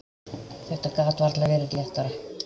Þetta gat varla verið léttara.